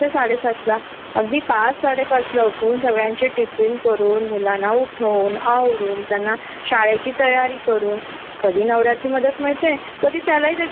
आणि घरी मुलांना जर फॅमिली ल जो टाइम द्यायचा असतो की त्यांच्या काहीतरी एक्स्ट्रा अॅक्टिविटी असतील किंवा अभ्यास घ्यायचा असेल स्पोर्ट्स असतील त्याला आपण अजिबातच वेळ देऊ शकत नाही